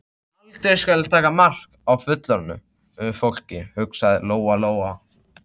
Aldrei skal ég taka mark á fullorðnu fólki, hugsaði Lóa Lóa.